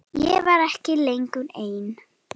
Ég var ekki lengur ein.